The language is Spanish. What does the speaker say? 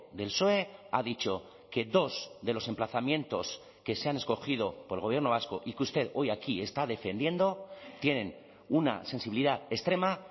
del psoe ha dicho que dos de los emplazamientos que se han escogido por el gobierno vasco y que usted hoy aquí está defendiendo tienen una sensibilidad extrema